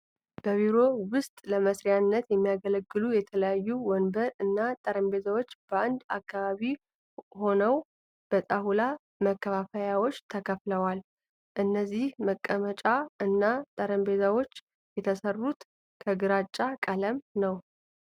በቢሮ ዉስጥ ለመስሪያነት የሚያገለግሉ የተለያዩ ወንበር እና ጠረጴዛዎች በአንድ አካባቢ ሆነው በጣውላ መከፋፈያዎች ተከፍለዋል። እነዚህ መቀመጫ እና ጠረጴዛዎች የተሰሩትም ከግራጫ ቀለማት ነው።